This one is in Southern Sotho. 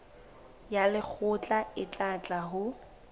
ya lekgotla e tla ho